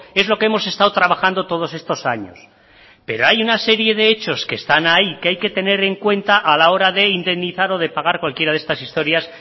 es lo que hemos estado trabajando todos estos años pero hay una serie de hechos que están ahí que hay que tener en cuenta a la hora de indemnizar o de pagar cualquiera de estas historias